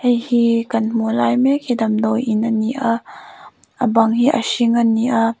hei hi kan hmuh lai mek hi damdawiin a ni a a bang hi a hring a ni a.